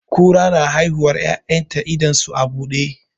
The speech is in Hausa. Kura na haihuwar 'ya'yan ta idon su a buɗe.